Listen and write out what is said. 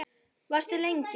Varstu lengi?